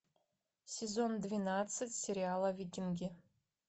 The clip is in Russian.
сезон двенадцать сериала викинги